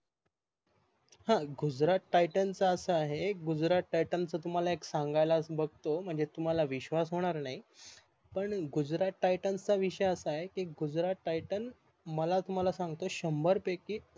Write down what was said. ह गुजरात TAITAN च अस आहे गुजरात TAITAN च एक सांगायला बघतो पण तुम्हाला विश्वास होणार नाही पण गुजरात TAITAN हा विषय असा गुजरात taitan मला तुम्हाला सांगतो शंभर पैकी